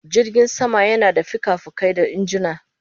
Jirgin sama yana da fikafikai da injuna